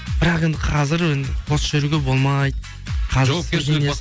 бірақ енді қазір енді бос жүруге болмайды